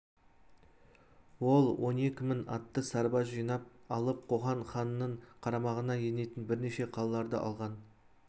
ол он екі мың атты сарбаз жинап алып қоқан ханының қарамағына енетін бірнеше қалаларды алған